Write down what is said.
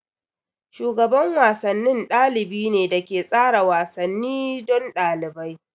Shugaban wasanni ɗalibi ne da ke tsara wasanni don ɗalibai.